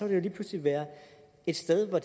vi lige pludselig være et sted hvor